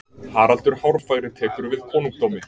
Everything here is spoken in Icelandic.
haraldur hárfagri tekur við konungdómi